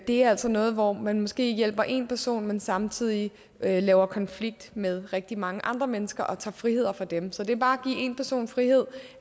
det er altså noget hvor man måske hjælper én person men samtidig laver konflikt med rigtig mange andre mennesker og tager friheder fra dem så det bare at give én person frihed